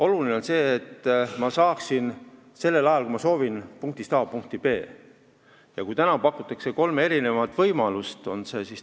Oluline on see, et ma saaksin sellel ajal, kui ma soovin, punktist A punkti B. Täna pakutakse kolme võimalust.